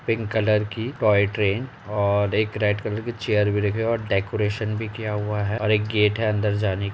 pink colour की toy train और एक रेड कलर की चेयर भी रखी हुई है और डेकोरेशन भी किया हुआ है और एक गेट है अंदर जाने --